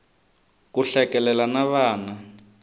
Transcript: ku hlekelela na vana